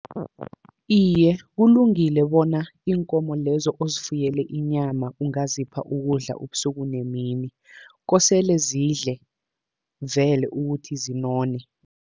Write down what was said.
Iye, kulungile bona iinkomo lezo ozifuyele inyama ungazipha ukudla ubusuku nemini. Kosele zidle vele ukuthi zinone.